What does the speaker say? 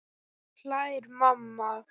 Nú hlær mamma.